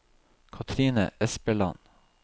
Katrine Espeland